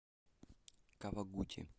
кавагути